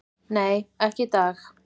"""Nei, ekki í dag."""